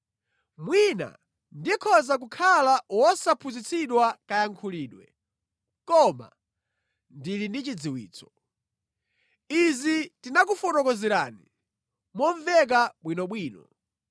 Mwina ndikhoza kukhala wosaphunzitsidwa kayankhulidwe, koma ndili ndi chidziwitso. Izi tinakufotokozerani momveka bwinobwino.